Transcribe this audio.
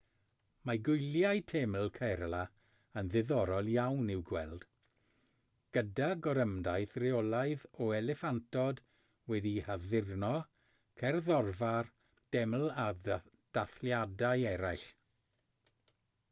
mae gwyliau teml kerala yn ddiddorol iawn i'w gweld gyda gorymdaith reolaidd o eliffantod wedi'u haddurno cerddorfa'r deml a dathliadau eraill